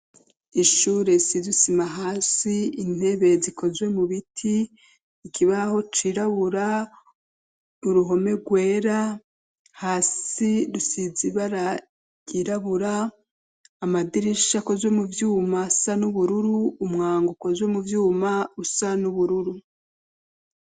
Ishure isize isima hasi, intebe zikozwe mu biti, ikibaho cirabura, uruhome rwera hasi rusize ibara ryirabura, amadirisha akozwe muvyuma asa n'ubururu, umwango ukozwe muvyuma usa n'ubururu.